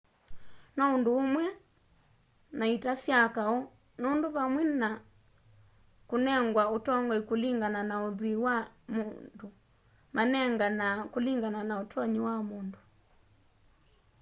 no ũndũ ũmwe na ita sya kaũ nũndũ vandũ va kũnengwa ũtongoĩ kũlĩngana na ũthwĩĩ wa mũndũ manenganaa kũlĩngana na ũtonyĩ wa mũndũ